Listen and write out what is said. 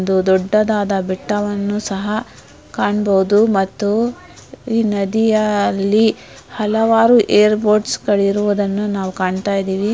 ಒಂದು ದೊಡ್ಡದಾದ ಬೆಟ್ಟವನ್ನು ಸಹ ಕಾಣಬಹುದು ಮತ್ತು ಈ ನದಿಯಲ್ಲಿ ಹಲವಾರು ಏರ್ ಬೋಟ್ಸ್ ಗಳು ಇರುವುದನ್ನು ನಾವು ಕಾಣುತ್ತಾ ಇದ್ದೀವಿ.